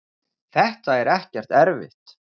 þetta er ekkert erfitt.